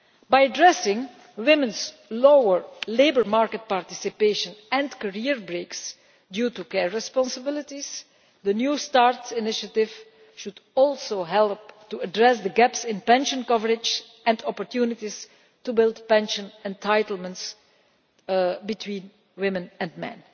By addressing women's lower labour market participation and career breaks due to care responsibilities, the new start' initiative should also help to address the gaps in pension coverage and opportunities to build pension entitlements between women and men.